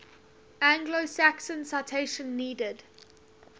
anglo saxons citation needed